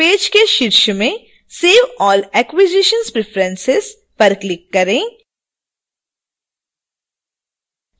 page के शीर्ष में save all acquisitions preferences पर click करें